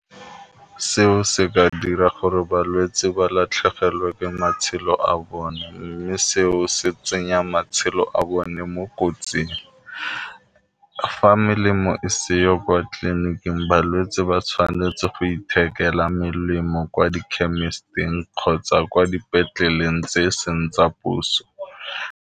Seo se ka dira gore balwetse ba latlhegelwe ke matshelo a bone mme seo se tsenya matshelo a bone mo kotsing, fa melemo e seyo kwa tleliniking balwetse ba tshwanetse go ithekela melemo kwa di chemist-ng kgotsa kwa dipetleleng tse e seng tsa puso.